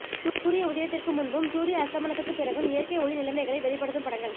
சூரிய உதயத்திற்கு முன்பும் சூரிய அஸ்தமனத்துக்கு பிறகும் இயற்கை ஒளி நிலைமைகளை வெளிப்படுத்தும் படங்கள்